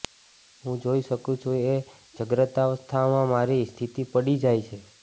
હું જોઈ શકું છું કે જાગ્રતાવસ્થામાં મારી સ્થિતિ પડી જાય છે